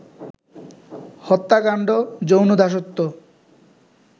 হত্যাকাণ্ড, যৌন দাসত্ব